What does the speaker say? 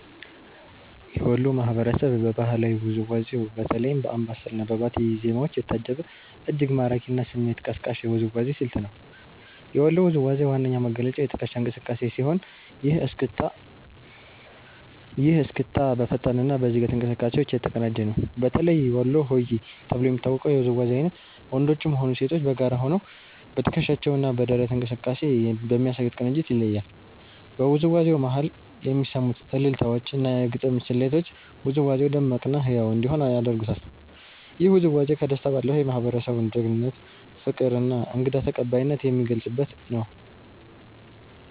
የወሎ ማህበረሰብ በባህላዊ ውዝዋዜው በተለይም በአምባሰል እና በባቲ ዜማዎች የታጀበ፤ እጅግ ማራኪ እና ስሜት ቀስቃሽ የውዝዋዜ ስልት አለው። የወሎ ውዝዋዜ ዋነኛ መገለጫው የትከሻ እንቅስቃሴ ሲሆን፤ ይህ እስክስታ በፈጣን እና በዝግታ እንቅስቃሴዎች የተቀናጀ ነው። በተለይ ወሎ ሆዬ ተብሎ የሚታወቀው የውዝዋዜ አይነት ወንዶችም ሆኑ ሴቶች በጋራ ሆነው በትከሻቸው እና በደረት እንቅስቃሴ በሚያሳዩት ቅንጅት ይለያል። በውዝዋዜው መሃል የሚሰሙት አልልታዎች እና የግጥም ስልቶች ውዝዋዜው ደማቅ እና ህያው እንዲሆን ያደርጉታል። ይህ ውዝዋዜ ከደስታ ባለፈ፣ የማህበረሰቡን ጀግንነት፣ ፍቅር እና እንግዳ ተቀባይነት የሚገልጽበት ነው።